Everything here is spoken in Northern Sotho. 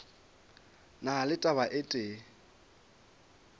na le taba e tee